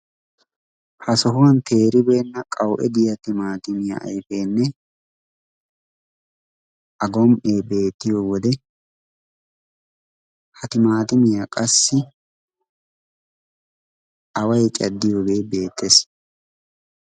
ha sohuwan teeribeena timatimmiya ayfenne a gom''e beettiyoode ha timatimmiya qassi awa caaddiyoge beettees.